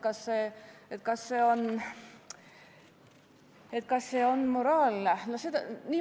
Kas see on moraalne?